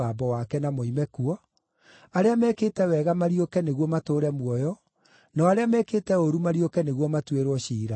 na moime kuo, arĩa mekĩte wega mariũke nĩguo matũũre muoyo, nao arĩa mekĩte ũũru mariũke nĩguo matuĩrwo ciira.